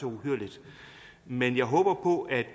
uhyrligt men jeg håber på at